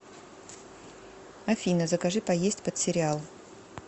афина закажи поесть под сериал